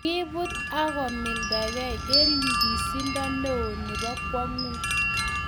kiibut ago mildagei eng nyikisindo neo nebo kwanguut